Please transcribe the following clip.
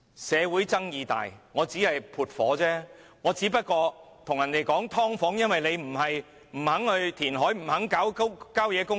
社會爭議大，她只是撥火，只對人說香港有"劏房"問題，因為大家不肯填海，不肯發展郊野公園。